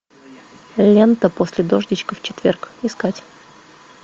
лента после дождичка в четверг искать